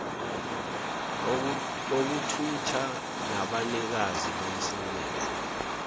okuthutha nabanikazi bomsebenzi